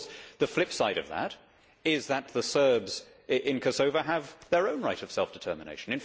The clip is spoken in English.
Of course the flipside of that is that the Serbs in Kosovo have their own right of self determination.